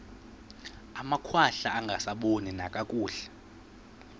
amakhwahla angasaboni nakakuhle